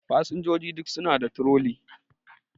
Fasinjojin duk suna da troli